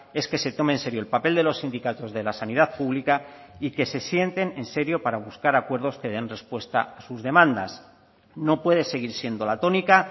es que se tome en serio el papel de los sindicatos de la sanidad pública y que se sienten en serio para buscar acuerdos que den respuesta a sus demandas no puede seguir siendo la tónica